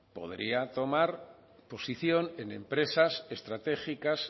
podría tomar posición en empresas estratégicas